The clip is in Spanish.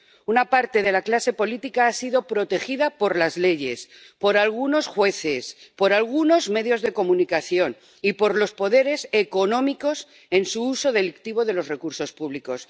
Una parte de la clase política ha sido protegida por las leyes, por algunos jueces, por algunos medios de comunicación y por los poderes económicos en su uso delictivo de los recursos públicos.